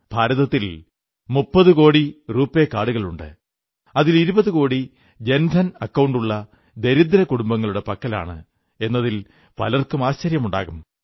ഭാരതത്തിൽ ഏകദേശം 30 കോടി റൂപേ കാർഡുകളുണ്ട് അതിൽ 20 കോടി ജൻധൻ അക്കൌണ്ടുകളുള്ള ദരിദ്ര കുടുംബങ്ങളുടെ പക്കലാണ് എന്നതിൽ പലർക്കും ആശ്ചര്യമുണ്ടാകും